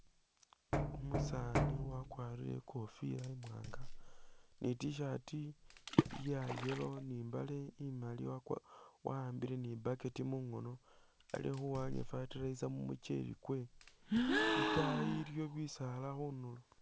Umusani wakwarile ikofila imwanga ni t-shirt ya yellow ni mbale imaali, wa'ambile ni' bucket mungono, alikhuwanya fertilizer mumucheli kwe, itaayi iliyo bisaala khunuulo